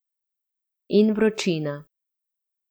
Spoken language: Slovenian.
In vročina.